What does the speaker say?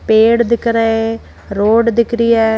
चेहरा दिख रहे रोड दिख रही हैं।